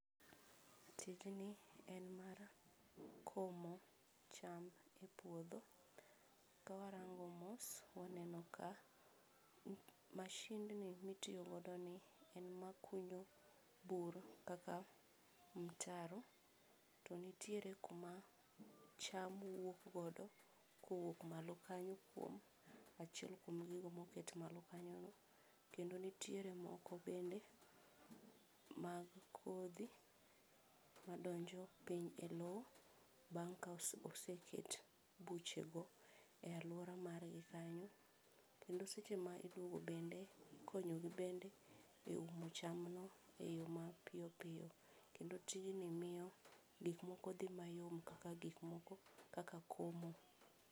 Tijni en mar komo cham epuodho, ka warango mos, waneno ka mashindni mitiyo godo ni en makunyo bur kaka mtaro to nitiere kuma cham wuok godo kowuok malo kanyo kuom achiel kuom gigo moket malo kanyono, kendo nitiere moko bende mag kodhi, madonjo piny e lowo bang' ka oseket buchego e alwora margi kanyo, kendo seche ma iumo bende, ikonyogi bende e umo chamno e yo mapiyo piyo, kendo tijni miyo gik moko dhi mayom kaka gik moko kaka komo.